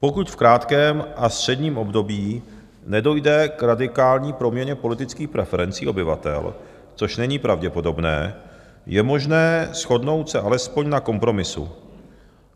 Pokud v krátkém a středním období nedojde k radikální proměně politických preferencí obyvatel, což není pravděpodobné, je možné shodnout se alespoň na kompromisu.